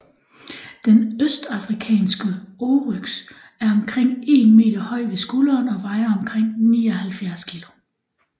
Den østafrikanske oryx er omkring 1 m høj ved skulderen og vejer omkring 79 kg